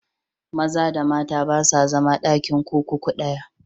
Maza da mata ba sa zama a ɗakin kurkuku ɗaya.